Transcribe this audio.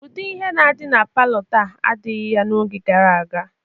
Ụdị ihe na-adị na palọ taa adịghị ya n'oge gara aga.